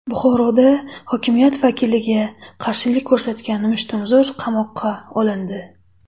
Buxoroda hokimiyat vakiliga qarshilik ko‘rsatgan mushtumzo‘r qamoqqa olindi.